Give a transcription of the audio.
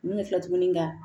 Min bɛ filɛ tuguni ka